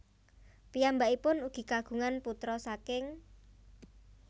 Piyambakipun ugi kagungan putra saking